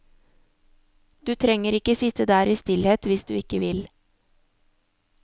Du trenger ikke sitte der i stillhet hvis du ikke vil.